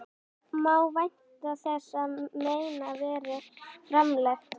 Má vænta þess að þeim verði framlengt?